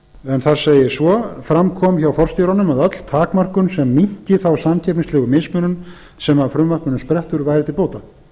en þar segir svo fram kom hjá forstjóranum að öll takmörkun sem minnki þá samkeppnislegu mismunum sem af frumvarpinu sprettur væri til bóta